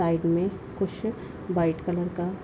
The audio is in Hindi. साइड में कुछ व्हाइट कलर का।